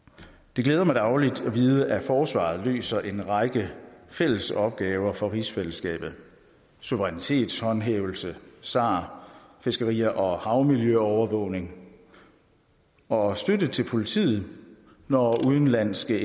det glæder mig dagligt at vide at forsvaret løser en række fælles opgaver for rigsfællesskabet suverænitetshåndhævelse sar fiskeri og og havmiljøovervågning og støtte til politiet når udenlandske